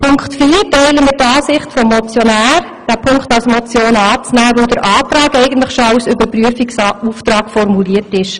Bei Punkt 4 teilen wir die Ansicht des Motionärs und nehmen den Punkt als Motion an, weil der Antrag schon als Überprüfungsauftrag formuliert ist.